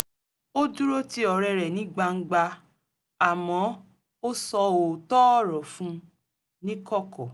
ó dúró ti ọ̀rẹ́ rẹ̀ ní gbangba àmọ́ ó sọ òótọ́ ọ̀rọ̀ fún un ní kọ̀kọ̀